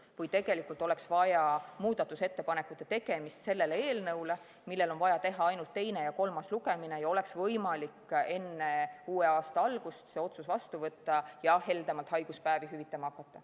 Kuid tegelikult oleks vaja teha muudatusettepanekud selle eelnõu kohta, mille puhul on vaja läbi viia ainult teine ja kolmas lugemine, ja oleks võimalik enne uue aasta algust see otsus vastu võtta ning heldemalt haiguspäevi hüvitama hakata.